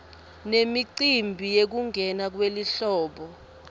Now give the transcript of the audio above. nemicimbi yekungena kwelihlobo